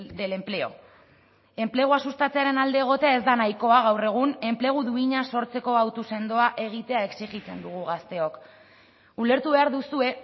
del empleo enplegua sustatzearen alde egotea ez da nahikoa gaur egun enplegu duina sortzeko hautu sendoa egitea exijitzen dugu gazteok ulertu behar duzue